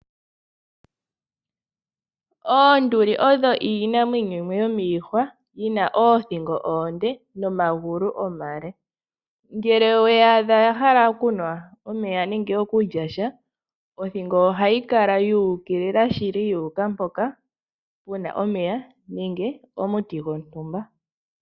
Oonduli odho iinamwenyo yimwe yomiihwa, dhina oothingo oonde, nomagulu omale. Ngele oweyi adha yahala okunwa omeya, nenge okulyasha, othingo ohayi kala tu ukilila shili, yu uka mpoka puna omeya, nenge omuti gwontumba.